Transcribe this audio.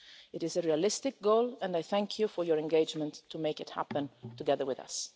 It is a realistic goal and I thank you for your engagement to make it happen together with us.